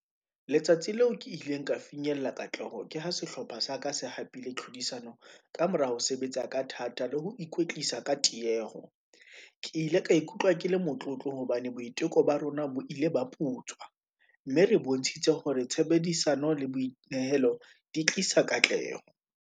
Letsatsi leo ke ileng ka finyella katleho, ke ha sehlopha sa ka se hapile tlhodisano, kamora ho sebetsa ka thata le ho ikwetlisa ka tieho, ke ile ka ikutlwa ke le motlotlo hobane boiteko ba rona bo ile ba putswa, mme re bontshitse hore tshebedisano le boinehelo di tlisa katleho.